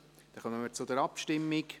Somit kommen wir zur Abstimmung.